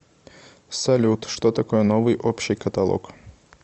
салют что такое новый общий каталог